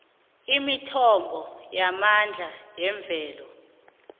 imithombo yamandla wemvelo